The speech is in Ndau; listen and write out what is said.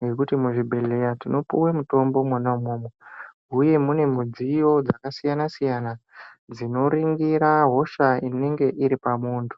ngekuti muzvibhedhleya tinopuwe mutombo mwona umwomwo, uye mune mudziyo dzakasiyana-siyana dzinoringira hosha, inenge iri pamuntu.